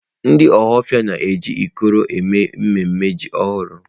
Ndị Ọhafia na-eji ikoro eme mmemme iri ji ọhụrụ.